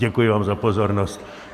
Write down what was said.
Děkuji vám za pozornost.